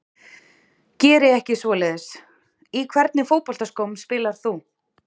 Geri ekki svoleiðis Í hvernig fótboltaskóm spilar þú?